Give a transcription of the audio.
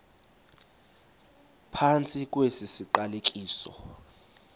phantsi kwesi siqalekiso